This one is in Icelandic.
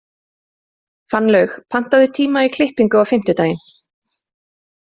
Fannlaug, pantaðu tíma í klippingu á fimmtudaginn.